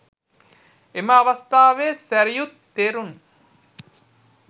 එම අවස්ථාවේ සැරියුත් තෙරුන්